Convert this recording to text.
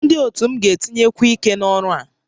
Ndị otu m ga-etinyekwu ike n'ọrụ a